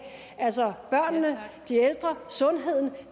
altså børnene de ældre sundheden